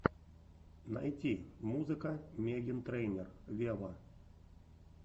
найти музыка меган трейнер вево